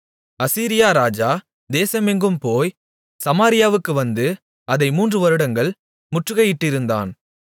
அசீரியா ராஜா தேசம் எங்கும் போய் சமாரியாவுக்கும் வந்து அதை மூன்றுவருடங்கள் முற்றுகையிட்டிருந்தான்